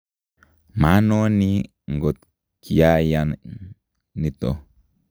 manoni ngot kiayan nito